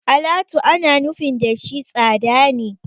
Alatu ana nufin da shi tsada ne.